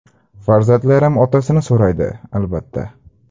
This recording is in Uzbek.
Farzandlarim otasini so‘raydi, albatta.